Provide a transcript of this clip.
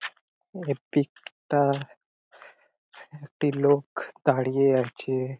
এ pic -টা একটি লোক দাঁড়িয়ে আছে ।